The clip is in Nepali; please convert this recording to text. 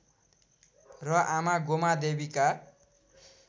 र आमा गोमादेवीका